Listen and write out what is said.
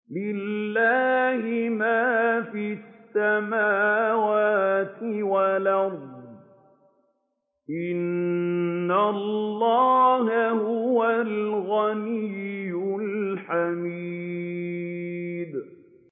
لِلَّهِ مَا فِي السَّمَاوَاتِ وَالْأَرْضِ ۚ إِنَّ اللَّهَ هُوَ الْغَنِيُّ الْحَمِيدُ